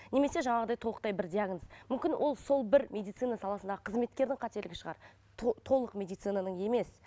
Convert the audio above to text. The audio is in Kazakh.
немесе жаңағыдай толықтай бір диагноз мүмкін ол сол бір медицина саласындағы қызметкердің қателігі шығар толық медицинаның емес